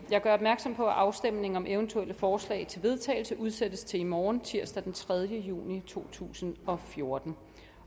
jeg gør opmærksom på at afstemning om eventuelle forslag til vedtagelse udsættes til i morgen tirsdag den tredje juni to tusind og fjorten